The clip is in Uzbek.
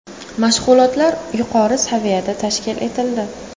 Mashg‘ulotlar yuqori saviyada tashkil etildi.